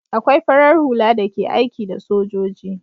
Akwai farar hula da ke aiki da sojoji